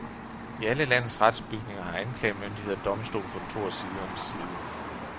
I alle landets retsbygninger har anklagemyndighed og domstol kontor side om side.